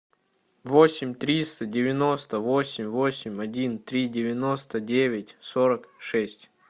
восемь триста девяносто восемь восемь один три девяносто девять сорок шесть